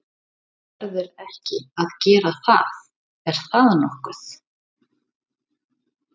Hann verður ekki að gera það er það nokkuð?